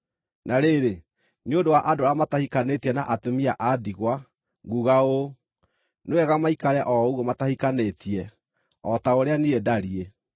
Na rĩrĩ, nĩ ũndũ wa andũ arĩa matahikanĩtie na atumia a ndigwa, nguuga ũũ: Nĩ wega maikare o ũguo matahikanĩtie, o ta ũrĩa niĩ ndariĩ.